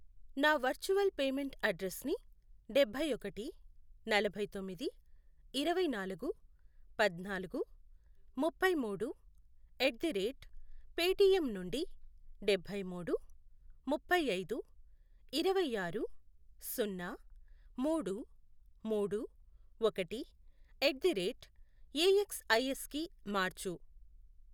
నా virtual payment అడ్రెస్సుని డబ్బై ఒకటి, నలభై తొమ్మిది, ఇరవై నాలుగు, పద్నాలుగు, ముప్పై మూడు, ఎట్ ది రేట్ పేటిఎమ్ నుండి డబ్బై మూడు, ముప్పై ఐదు, ఇరవై ఆరు, సున్నా, మూడు, మూడు, ఒకటి, ఎట్ ది రేట్ ఏఎక్స్ఐఎస్ కి మార్చు.